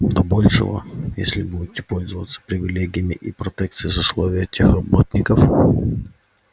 до большего если будете пользоваться привилегиями и протекцией сословия тех работников